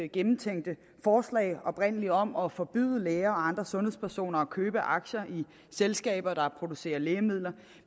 gennemtænkte oprindelige forslag om at forbyde læger og andre sundhedspersoner at købe aktier i selskaber der producerer lægemidler